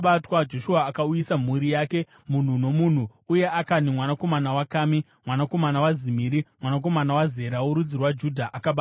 Joshua akauyisa mhuri yake munhu nomunhu, uye Akani mwanakomana waKami, mwanakomana waZimiri, mwanakomana waZera, worudzi rwaJudha, akabatwa.